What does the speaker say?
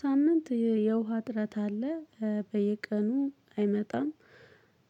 ሳምንት የውሃ እጥረት አለ በየቀኑ አይመጣም።